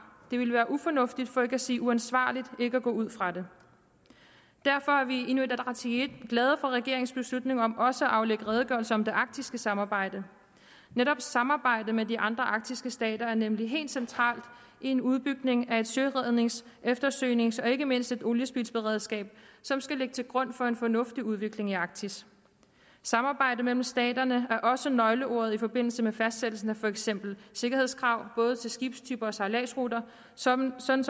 det ville være ufornuftigt for ikke at sige uansvarligt ikke at gå ud fra det derfor er vi i inuit ataqatigiit glade for regeringens beslutning om også at aflægge redegørelse om det arktiske samarbejde netop samarbejde med de andre arktiske stater er nemlig helt centralt i en udbygning af et sørednings eftersøgnings og ikke mindst oliespildsberedskab som skal ligge til grund for en fornuftig udvikling i arktis samarbejde mellem staterne er også nøgleordet i forbindelse med fastsættelse af for eksempel sikkerhedskrav både til skibstyper og til sejladsruter sådan som